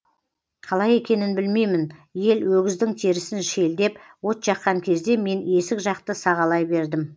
қалай екенін білмеймін ел өгіздің терісін шелдеп от жаққан кезде мен есік жақты сағалай бердім